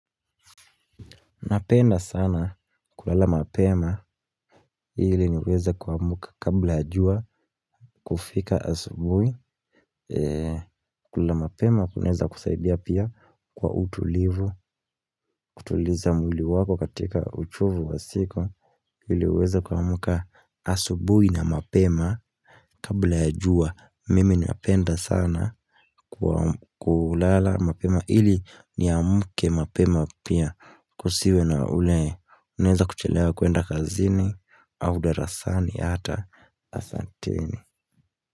Napenda sana kulala mapema ili niweze kuamka kabla jua kufika asubui. Kulala mapema kunaweza kusaidia pia kwa utulivu kutuliza mwili wako katika uchovu wa siku, ili uweze kuamka asubuhi na mapema Kabla ya jua mimi ninapenda sana kulala mapema ili niamke mapema pia kusiwe na ule unaweza kuchelewa kuenda kazini au darasani hata, asanteni.